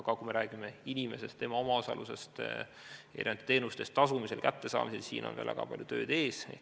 Aga kui me räägime inimeste omaosalusest teenuste eest tasumisel ja nende kättesaamisel, siis siin on väga palju tööd ees.